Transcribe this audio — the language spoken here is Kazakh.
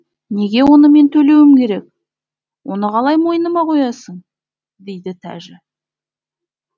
неге оны мен төлеуім керек оны қалай мойыныма қоясың дейді тәжі